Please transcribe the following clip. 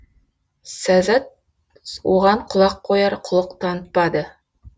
сәззәт оған құлақ қояр құлық танытпады